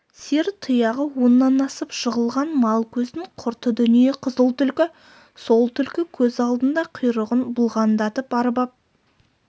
сиыр тұяғы оннан асып жығылған мал көздің құрты дүние қызыл түлкі сол түлкі көз алдында құйрығын бұлғаңдатып арбап